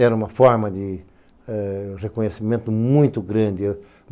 Era uma forma de ãh reconhecimento muito grande.